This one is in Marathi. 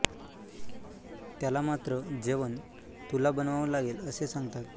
त्याला मात्र जेवण तुला बनवाव लागेल असे सांगतात